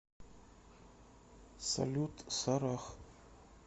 салют сарах